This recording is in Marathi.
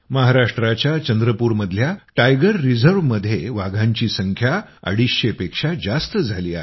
महाराष्ट्राच्या चंद्रपूर मधल्या टायगर रिझर्व मध्ये वाघांची संख्या अडीचशे पेक्षा जास्त झाली आहे